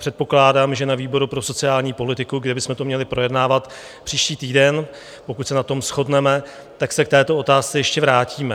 Předpokládám, že na výboru pro sociální politiku, kde bychom to měli projednávat příští týden, pokud se na tom shodneme, tak se k této otázce ještě vrátíme.